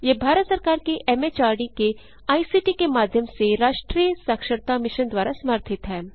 यह भारत सरकार के एमएचआरडी के आईसीटी के माध्यम से राष्ट्रीय साक्षरता मिशन द्वारा समर्थित है